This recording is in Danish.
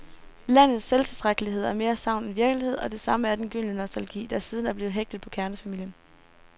Landets selvtilstrækkelighed er mere sagn end virkelighed, og det samme er den gyldne nostalgi, der siden er blevet hægtet på kernefamilien.